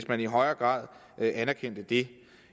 man i højere grad anerkendte det